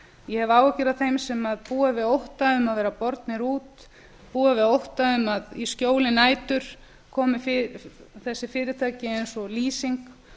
ég hef áhyggjur af þeim sem búa við ótta um að vera bornir út búa við ótta um að í skjóli nætur komi þessi fyrirtæki eins og lýsing